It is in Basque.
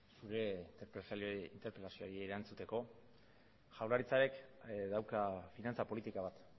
zure interpretazioari erantzuteko jaurlaritzak ere dauka finantza politika bat